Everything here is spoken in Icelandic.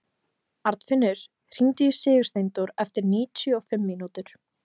Arnfinnur, hringdu í Sigursteindór eftir níutíu og fimm mínútur.